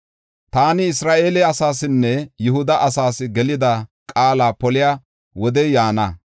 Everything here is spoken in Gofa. “Taani Isra7eele asaasinne Yihuda asaas gelida qaala poliya wodey yaana.